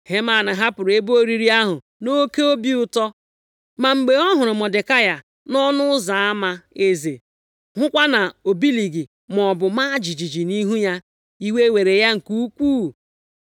Heman hapụrụ ebe oriri ahụ nʼoke obi ụtọ. Ma mgbe ọ hụrụ Mọdekai nʼọnụ ụzọ ama eze, hụkwa na o bilighị maọbụ maa jijiji nʼihu ya, iwe were ya nke ukwuu.